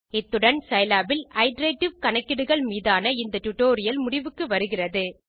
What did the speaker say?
இத்துடன் சிலாப் இல் இட்டரேட்டிவ் கணக்கீடுகள் மீதான ஸ்போக்கன் டியூட்டோரியல் முடிவுக்கு வருகிறது